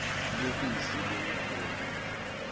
lubisi lwenkhomo